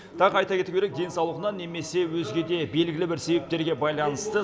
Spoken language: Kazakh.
тағы айта кету керек денсаулығына немесе өзге де белгілі бір себептерге байланысты